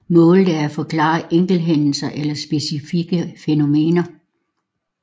Målet er at forklare enkelthændelser eller specifikke fænomener